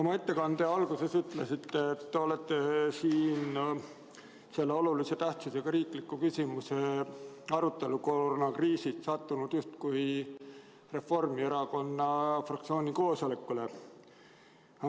Oma ettekande alguses ütlesite, et olete selle olulise tähtsusega riikliku küsimuse arutelul sattunud justkui Reformierakonna fraktsiooni koosolekule.